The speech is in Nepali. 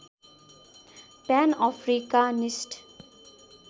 PAN Africanist